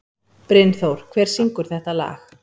Brynþór, hver syngur þetta lag?